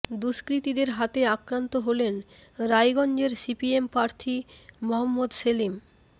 দুষ্কৃতীদের হাতে আক্রান্ত হলেন রায়গঞ্জের সিপিএম প্রার্থী মহম্মদ সেলিম